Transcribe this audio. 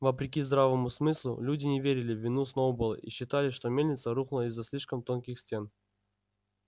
вопреки здравому смыслу люди не верили в вину сноуболла и считали что мельница рухнула из-за слишком тонких стен